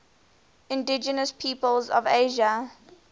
indigenous peoples of asia